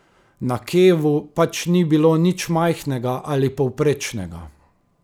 Na Kevu pač ni bilo nič majhnega ali povprečnega.